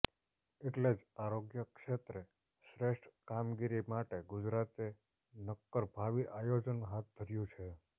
એટલે જ આરોગ્ય ક્ષેત્રે શ્રેષ્ઠ કામગીરી માટે ગુજરાતે નક્કર ભાવિ આયોજન હાથ ધર્યું છે